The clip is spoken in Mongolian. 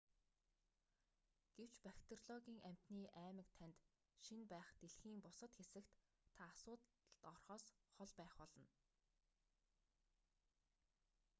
гэвч бактериологийн амьтны аймаг танд шинэ байх дэлхийн бусад хэсэгт та асуудалд орохоос хол байх болно